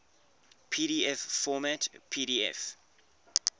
pdf format pdf